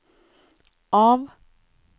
av